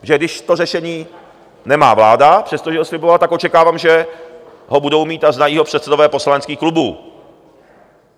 Protože když to řešení nemá vláda, přestože ho slibovala, tak očekávám, že ho budou mít a znají ho předsedové poslaneckých klubů.